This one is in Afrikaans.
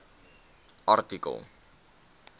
artikel